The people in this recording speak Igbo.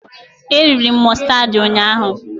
E riri m mụstardị ụnyaahụ